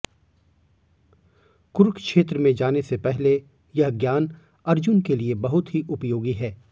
कुरुक्षेत्र में जाने से पहले यह ज्ञान अर्जुन के लिए बहुत ही उपयोगी है